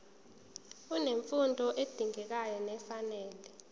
unemfundo edingekayo nefanele